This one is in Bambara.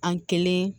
An kelen